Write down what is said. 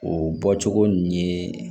O bɔcogo ninnu ye